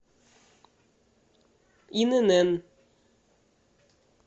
инн